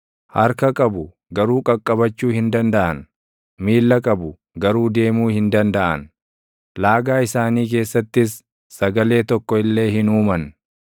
harka qabu; garuu qaqqabachuu hin dandaʼan; miilla qabu; garuu deemuu hin dandaʼan; laagaa isaanii keessattis sagalee tokko illee hin uuman.